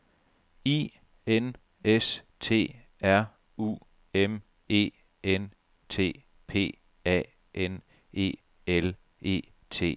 I N S T R U M E N T P A N E L E T S